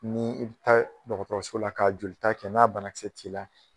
N'i bi taa dɔgɔtɔrɔso la ka jolita kɛ n'a banakisɛ t'i la.